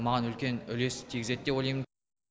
маған үлкен үлес тигізеді деп ойлаймын